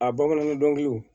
A bamanankan dɔnkiliw